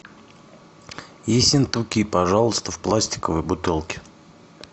ессентуки пожалуйста в пластиковой бутылке